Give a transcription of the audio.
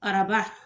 Araba